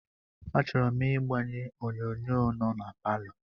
Achọrọ m ịgbanye onyonyo nọ na palọ